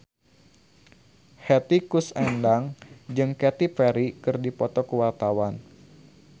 Hetty Koes Endang jeung Katy Perry keur dipoto ku wartawan